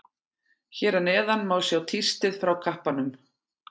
Hér að neðan má sjá tístið frá kappanum.